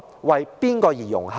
為誰而融合？